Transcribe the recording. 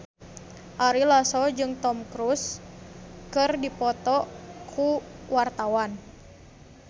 Ari Lasso jeung Tom Cruise keur dipoto ku wartawan